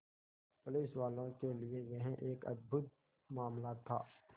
पुलिसवालों के लिए यह एक अद्भुत मामला था